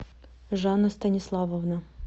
жанна станиславовна